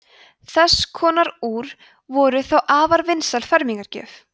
þess konar úr voru þá afar vinsæl fermingargjöf